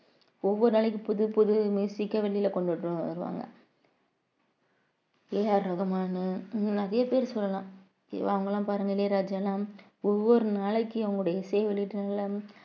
ஒவ்வொரு நாளைக்கும் புதுப்புது அ வெளியில கொண்டுட்டு வருவாங்க A R ரஹ்மான் இன்னும் நிறைய பேர் சொல்லலாம் ஜீவா அவங்கெல்லாம் பாருங்க இளையராஜால ஒவ்வொரு நாளைக்கும் அவங்களுடைய இசையை வெளியீட்டு நாள்ல